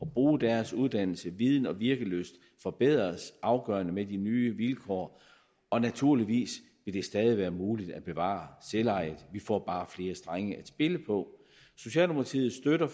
bruge deres uddannelse viden og virkelyst forbedres afgørende med de nye vilkår og naturligvis vil det stadig være muligt at bevare selvejet vi får bare flere strenge at spille på socialdemokratiet støtter